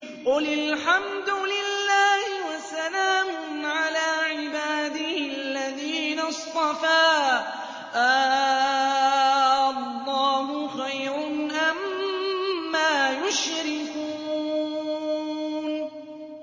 قُلِ الْحَمْدُ لِلَّهِ وَسَلَامٌ عَلَىٰ عِبَادِهِ الَّذِينَ اصْطَفَىٰ ۗ آللَّهُ خَيْرٌ أَمَّا يُشْرِكُونَ